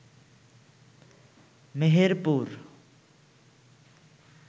Meherpur